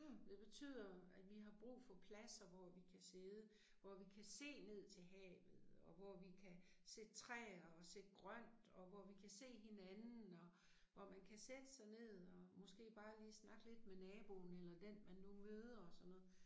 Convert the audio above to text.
Det betyder, at vi har brug for pladser hvor vi kan sidde, hvor vi kan se ned til havet og hvor vi kan sætte træer og sætte grønt og hvor vi kan se hinanden og og man kan sætte sig ned og måske bare lige snakke lidt med naboen eller den man nu møder og sådan noget